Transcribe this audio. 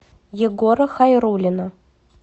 егора хайруллина